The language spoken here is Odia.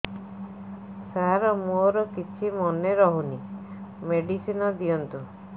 ସାର ମୋର କିଛି ମନେ ରହୁନି ମେଡିସିନ ଦିଅନ୍ତୁ